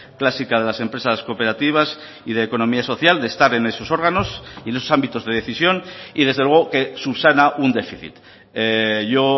clásica de las empresas cooperativas y de economía social de estar en esos órganos y en esos ámbitos de decisión y desde luego que subsana un déficit yo